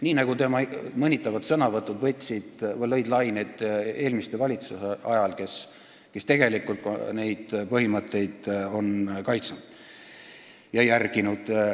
Nii nagu tema mõnitavad sõnavõtud lõid laineid eelmiste valitsuste ajal, kes tegelikult on neid põhimõtteid kaitsnud ja järginud.